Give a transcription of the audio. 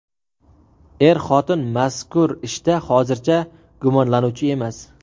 Er-xotin mazkur ishda hozircha gumonlanuvchi emas.